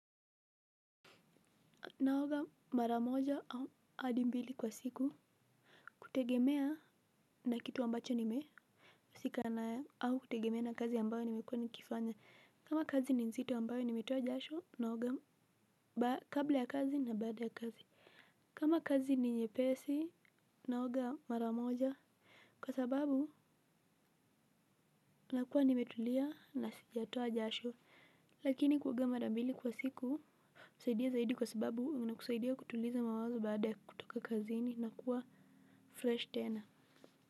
Naoga maramoja au adi mbili kwa siku. Kutegemea na kitu ambacho nimehusika nayo au kutegemea na kazi ambayo nimekuwa nikifanya. Kama kazi ni nzito ambayo nimetoa jasho naoga kabla ya kazi na baada ya kazi. Kama kazi ni nyepesi naoga maramoja. Kwa sababu nakua nimetulia na sijatoa jasho. Lakini kuoga marambili kwa siku husaidia zaidi kwa sababu unakusaidia kutuliza mawazo baada kutoka kazini na kuwa fresh tena.